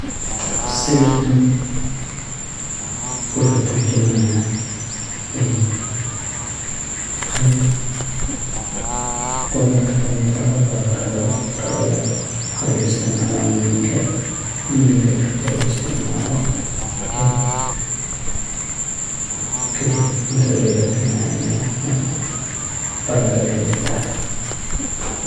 Sawirkan wuxu turjumaya qeyb qudarta makid ah oladoho baradhada. Baradhada waxa luguisticmala muhiimka, muhiimka marki luguisticmalo kadib cuntada ayu macaneya marka baradhada aya ladaha.